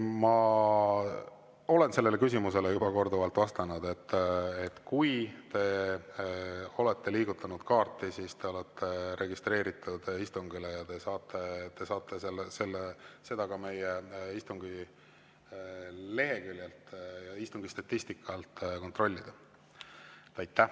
Ma olen sellele küsimusele juba korduvalt vastanud, et kui te olete liigutanud kaarti, siis te olete registreeritud istungile ja te saate seda ka meie leheküljelt istungi statistika alt kontrollida.